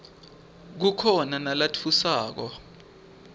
kukhona nalatfusako